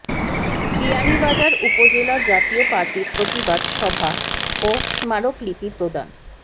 বিয়ানীবাজার উপজেলা জাতীয় পার্টির প্রতিবাদ সভা ও স্মারকলিপি প্রদান